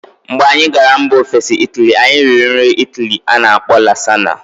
Mgbe anyị gara mba ofesi Ịtali, anyị riri nri Ịtali a na-akpọ Lasagna.